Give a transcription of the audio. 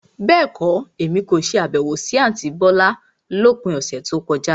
Bẹ́ẹ̀kọ́, Èmi kò ṣe Àbẹ̀wò sí àntí bọ́lá lópin ọ̀sẹ̀ tí ó kọjá.